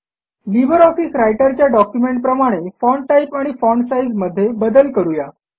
Libre office रायटरच्या डॉक्युमेंटप्रमाणे font type आणि फॉन्ट साइझ मध्ये बदल करू या